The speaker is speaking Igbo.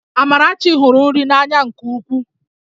Amarachi hụrụ nri n'anya nke ukwuu